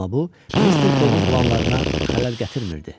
Amma bu, Mister Foqqun planlarına xələl gətirmirdi.